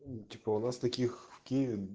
ну типа у нас таких в киеве